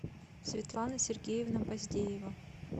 светлана сергеевна баздеева